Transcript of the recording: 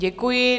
Děkuji.